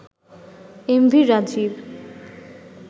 MV Rajib